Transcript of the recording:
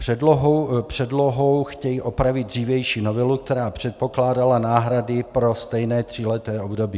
Předlohou chtějí opravit dřívější novelu, která předpokládala náhrady pro stejné tříleté období.